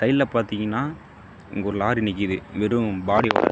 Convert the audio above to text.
சைடுல பாத்திங்கனா இங்கொரு லாரி நிக்குது வெறும் பாடியோட .